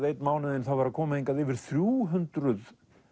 einn mánuðinn koma hingað yfir þrjú hundruð